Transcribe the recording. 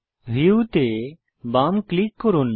view তে বাম click করুন